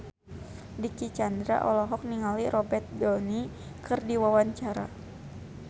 Dicky Chandra olohok ningali Robert Downey keur diwawancara